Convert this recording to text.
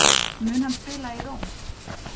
Mun hann spila í Róm?